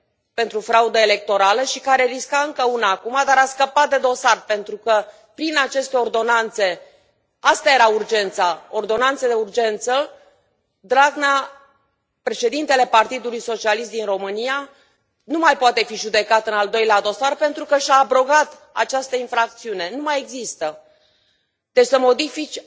pentru fraudă electorală și care risca încă una acum, dar a scăpat de dosar pentru că, prin aceste ordonanțe asta era urgența ordonanțe de urgență Dragnea, președintele Partidului Socialist din România, nu mai poate fi judecat în al doilea dosar pentru că și a abrogat această infracțiune, nu mai există. Deci să modifici